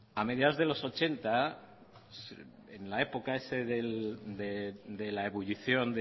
a mediados de los ochenta en la época esa de la ebullición